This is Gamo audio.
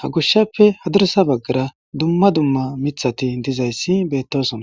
ha gushshappe hadirsa baggara dumma dumma mithati dizayssi beettosona